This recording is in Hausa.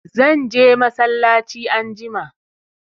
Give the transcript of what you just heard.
Zan je masallaci anjima